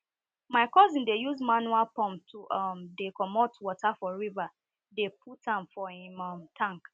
my cousin dey use manual pump to um dey comot water for river dey put am for him um tank